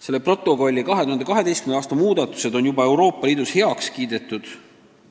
Selle protokolli 2012. aasta muudatused on juba Euroopa Liidus heaks kiidetud